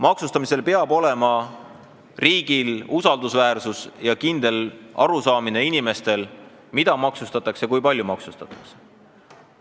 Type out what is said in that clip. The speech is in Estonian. Maksustamisel peab riik käituma usaldusväärselt ja inimestel peab olema kindel arusaam, mida ja kui palju maksustatakse.